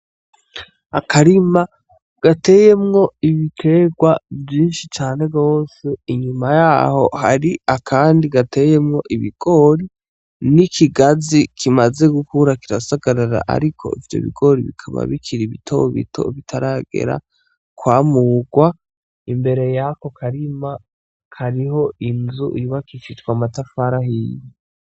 Akarima gateyemwo Ibiterwa Vyinshii cane gose, inyuma yaho harimwo akarima gateyemwo ibigori n'ikigazi kimaze gukura kirasagarara Ariko Ivyo bigori bikaba bikiri bitobito bitaragera kwamurwa , imbere yako karima hariho inzu yubakishijwa amatafari ahiye.